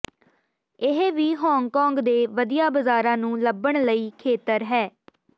ਇਹ ਵੀ ਹਾਂਗਕਾਂਗ ਦੇ ਵਧੀਆ ਬਾਜ਼ਾਰਾਂ ਨੂੰ ਲੱਭਣ ਲਈ ਖੇਤਰ ਹੈ